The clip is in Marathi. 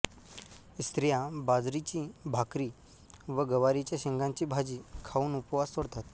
स्त्रिया बाजरीची भाकरी व गवारीच्या शेंगाची भाजी खाऊन उपवास सोडतात